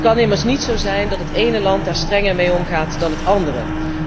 Het kan immers niet zo zijn dat het ene land daar strenger mee omgaat dan het andere.